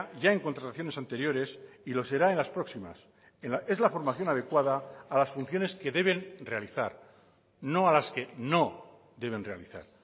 ya en contrataciones anteriores y lo será en las próximas es la formación adecuada a las funciones que deben realizar no a las que no deben realizar